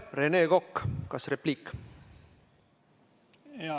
Rene Kokk, kas repliik?